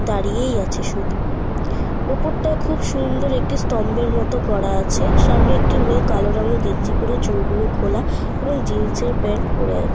দাঁড়িয়েই আছে শুধু। ওপরটা খুব সুন্দর একটি স্তম্ভের মত করা আছে। সামনে একটি মেয়ে কালো রঙের গেঞ্জি পরে চুলগুলো খোলা এবং জিন্সের প্যান্ট পরে আছে।